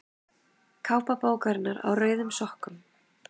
Kápa bókarinnar Á rauðum sokkum.